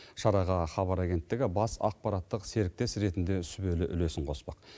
шараға хабар агенттігі бас ақпараттық серіктес ретінде сүбелі үлесін қоспақ